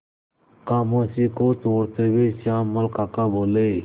खामोशी को तोड़ते हुए श्यामल काका बोले